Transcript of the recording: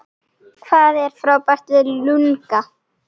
Hvað er frábært við LungA?